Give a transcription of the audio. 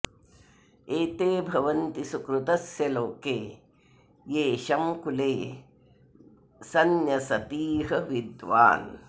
एते भवन्ति सुकृतस्य लोके येषं कुले संन्यसतीह विद्वान्